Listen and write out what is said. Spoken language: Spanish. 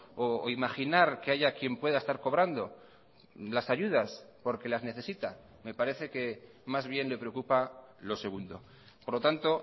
o imaginar que haya quien pueda estar cobrando las ayudas porque las necesita me parece que más bien le preocupa lo segundo por lo tanto